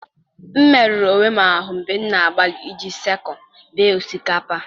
m merụrụ onwe m ahụ mgbe m na-agbalị iji sickle bee osikapa.